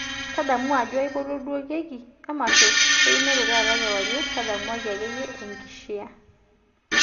tadamu ajo aipotuo duo keki ee emasho einoto taata kiwarie tadamuaki ake iyie enkishiaa